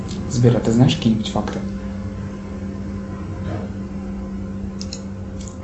сбер а ты знаешь какие нибудь факты